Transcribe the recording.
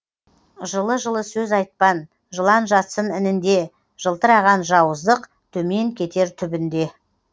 жылы жылы сөз айтпан жылан жатсын інінде жылтыраған жауыздық төмен кетер түбінде